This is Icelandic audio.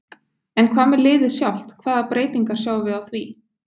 En hvað með liðið sjálft hvaða breytingar sjáum við á því?